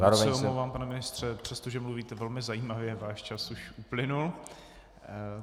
Moc se omlouvám, pane ministře, přestože mluvíte velmi zajímavě, váš čas už uplynul.